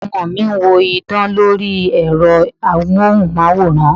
Àwọn ọmọ mi ń wo idán lori Ẹ̀rọ amohunmaworan.